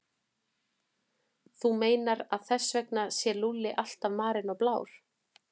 Þú meinar að þess vegna sé Lúlli alltaf marinn og blár?